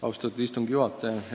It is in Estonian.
Austatud istungi juhataja!